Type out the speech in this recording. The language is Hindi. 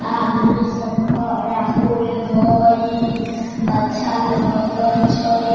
आदमी सब खड़ा होईल हेय अच्छा लगे छै।